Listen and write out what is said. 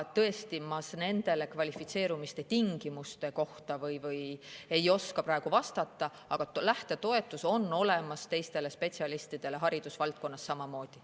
Tõesti, ma kvalifitseerumise tingimuste kohta ei oska praegu vastata, aga lähtetoetus on olemas ka teistel spetsialistidel, haridusvaldkonnas samamoodi.